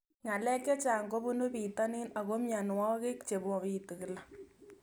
Ng'alek chechang' kopunu pitonin ako mianwogik che mapitu kila